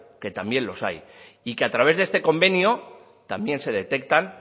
que también los hay y que a través de este convenio también se detectan